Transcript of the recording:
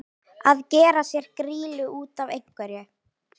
Að gera sér grýlu út af einhverju